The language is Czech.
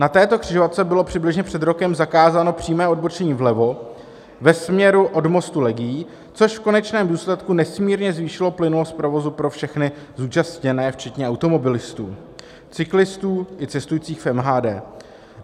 Na této křižovatce bylo přibližně před rokem zakázáno přímé odbočení vlevo ve směru od mostu Legií, což v konečném důsledku nesmírně zvýšilo plynulost provozu pro všechny zúčastněné včetně automobilistů, cyklistů i cestujících v MHD.